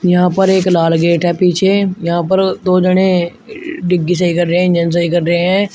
यहां पर एक लाल गेट है पीछे यहां पर दो जने डिग्गी सही कर रहे इंजन सही कर रहे है।